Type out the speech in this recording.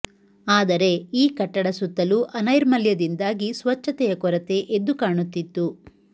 ಆದರೆ ಈ ಕಟ್ಟಡ ಸುತ್ತಲೂ ಅನೈರ್ಮಲ್ಯದಿಂದಾಗಿ ಸ್ವಚ್ಛತೆಯ ಕೊರತೆ ಎದ್ದು ಕಾಣುತ್ತಿತ್ತು